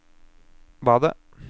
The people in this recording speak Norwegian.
badet